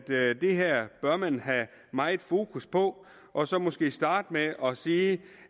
det her bør man have meget fokus på og så måske starte med at sige